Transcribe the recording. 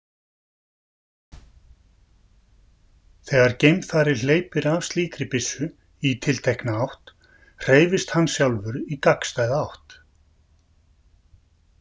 Þegar geimfari hleypir af slíkri byssu í tiltekna átt hreyfist hann sjálfur í gagnstæða átt.